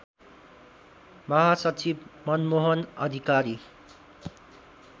महासचिव मनमोहन अधिकारी